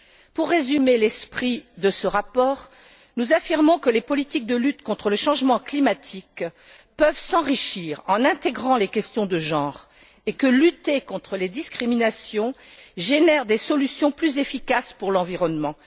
Pour résumer l'esprit de ce rapport, nous affirmons que les politiques de lutte contre le changement climatique peuvent s'enrichir en intégrant les questions de genre et que lutter contre les discriminations génère des solutions plus efficaces pour l'environnement.